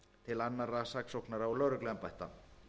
til annarra saksóknara og lögregluembætta